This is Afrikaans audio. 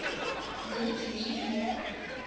word nie maar